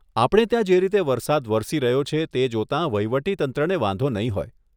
આપણે ત્યાં જે રીતે વરસાદ વરસી રહ્યો છે, તે જોતાં વહીવટી તંત્રને વાંધો નહીં હોય.